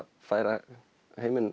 færa